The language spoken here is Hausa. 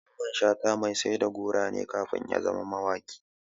Mamman Shata mai sai da goro ne kafin ya zama mawaƙi.